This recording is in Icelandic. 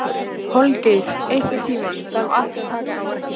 Holgeir, einhvern tímann þarf allt að taka enda.